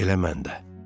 Elə mən də.